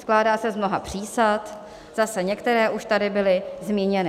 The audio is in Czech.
Skládá se z mnoha přísad, zase některé už tady byly zmíněny.